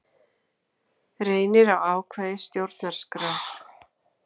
Reynir á ákvæði stjórnarskrár